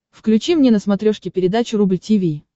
включи мне на смотрешке передачу рубль ти ви